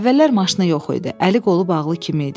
Əvvəllər maşını yox idi, əli qolu bağlı kimi idi.